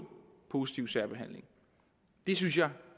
positiv særbehandling det synes jeg